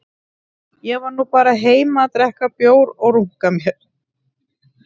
Ég var nú bara heima að drekka bjór og runka mér